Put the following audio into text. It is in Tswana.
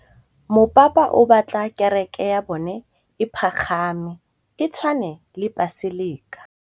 Mopapa o batla kereke ya bone e pagame, e tshwane le paselika.